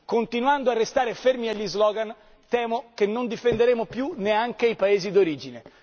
Continuando a restare fermi agli slogan, temo che non difenderemo più neanche i Paesi d'origine.